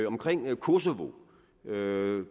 omkring kosovo var der jo en